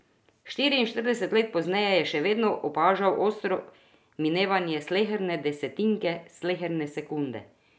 Štiriinštirideset let pozneje je še vedno opažal ostro minevanje sleherne desetinke sleherne sekunde.